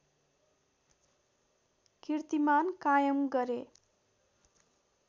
किर्तिमान कायम गरे